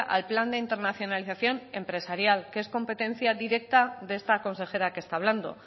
al plan de internacionalización empresarial que es competencia directa de esta consejera que está hablando